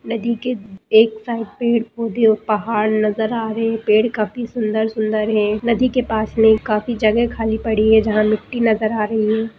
नदी के एक साइड पेड़-पौधे और पहाड़ नजर आ रहें हैं पेड़ काफी सुंदर-सुंदर हैं नदी के पास में काफी जगह खाली पड़ी है जहाँ मिट्टी नजर आ रही है।